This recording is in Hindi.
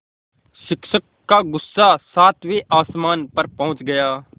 शिक्षक का गुस्सा सातवें आसमान पर पहुँच गया